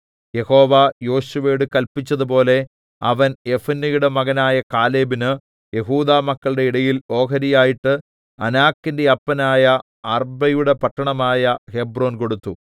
യഹോവ യോശുവയോട് കല്പിച്ചതുപോലെ അവൻ യെഫുന്നെയുടെ മകനായ കാലേബിന് യെഹൂദാമക്കളുടെ ഇടയിൽ ഓഹരിയായിട്ട് അനാക്കിന്റെ അപ്പനായ അർബ്ബയുടെ പട്ടണമായ ഹെബ്രോൻ കൊടുത്തു